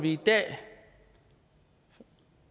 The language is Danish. i dag